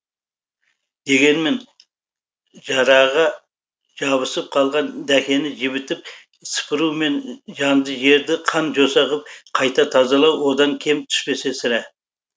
дегенмен жараға жабысып қалған дәкені жібітіп сыпыру мен жанды жерді қан жоса ғып қайта тазалау одан кем түспесе сірә